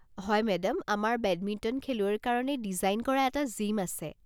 হয় মে'ডাম, আমাৰ বেডমিণ্টন খেলুৱৈৰ কাৰণে ডিজাইন কৰা এটা জিম আছে।